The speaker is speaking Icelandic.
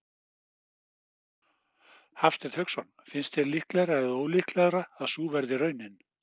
Hafsteinn Hauksson: Finnst þér líklegra eða ólíklegra að sú verði raunin?